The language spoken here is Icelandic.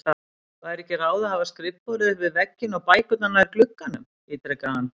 Væri ekki ráð að hafa skrifborðið upp við vegginn og bækurnar nær glugganum? ítrekaði hann.